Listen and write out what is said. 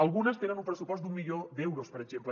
algunes tenen un pressupost d’un milió d’euros per exemple